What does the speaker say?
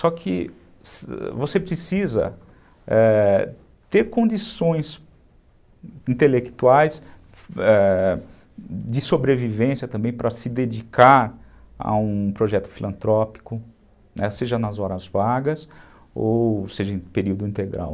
Só que você precisa, é, ter condições intelectuais, ãh, de sobrevivência também para se dedicar a um projeto filantrópico, seja nas horas vagas ou seja em período integral.